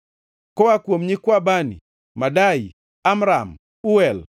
Koa kuom nyikwa Bani: Madai, Amram, Uel,